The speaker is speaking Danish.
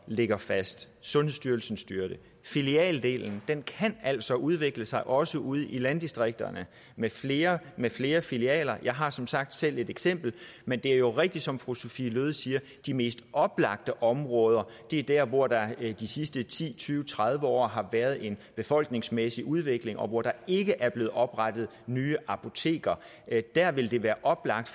ligger fast sundhedsstyrelsen styrer det filialdelen kan altså udvikle sig også ude i landdistrikterne med flere med flere filialer jeg har som sagt selv et eksempel men det er jo rigtigt som fru sophie løhde siger at de mest oplagte områder er der hvor der de sidste ti tyve tredive år har været en befolkningsmæssig udvikling og hvor der ikke er blevet oprettet nye apoteker der vil det være oplagt